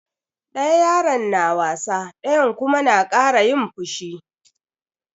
Ɗaya yaron na wasa ɗayan kuma na kara yin fushi.